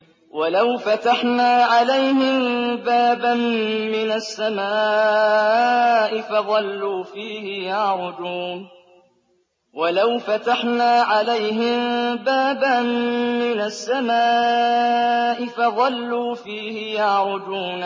وَلَوْ فَتَحْنَا عَلَيْهِم بَابًا مِّنَ السَّمَاءِ فَظَلُّوا فِيهِ يَعْرُجُونَ